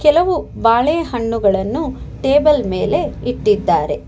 ಕೆಲವು ಬಾಳೆಹಣ್ಣುಗಳನ್ನು ಟೇಬಲ್ ಮೇಲೆ ಇಟ್ಟಿದ್ದಾರೆ.